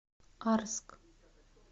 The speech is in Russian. арск